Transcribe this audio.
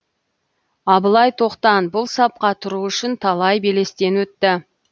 абылай тоқтан бұл сапқа тұру үшін талай белестен өтті